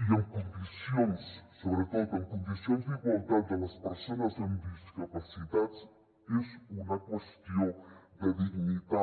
i en condicions sobretot en condicions d’igualtat de les persones amb discapacitats és una qüestió de dignitat